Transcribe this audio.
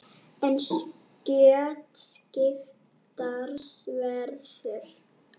En skjótt skipast veður.